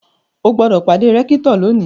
O gbọ́dọ̀ pàdé rẹ́kítọ̀ lónìí!